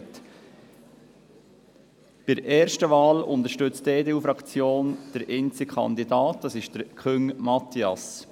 Bei der ersten Wahl unterstützt die EDU-Fraktion den einzigen Kandidaten: Küng Matthias.